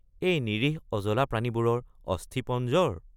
এই নিৰীহ অজলা প্ৰাণীবোৰৰ অস্থিপঞ্জৰ?